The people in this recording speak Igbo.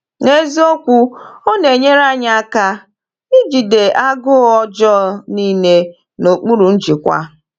N’eziokwu, ọ na-enyere anyị aka ijide agụụ ọjọọ niile n’okpuru njikwa.